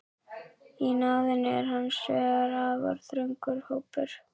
Í náðinni er hins vegar afar þröngur hópur.